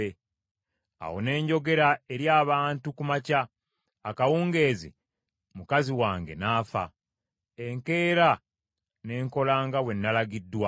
Awo ne njogera eri abantu ku makya, akawungeezi mukazi wange n’afa. Enkeera ne nkola nga bwe nalagiddwa.